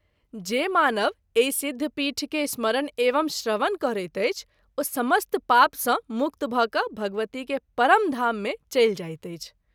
जे मानव एहि सिद्ध पीठ के स्मरण एवं श्रवण करैत अछि ओ समस्त पाप सँ मुक्त भ’ क’ भगवती के परम धाम मे चलि जाइत अछि।